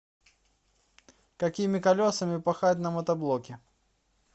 какими колесами пахать на мотоблоке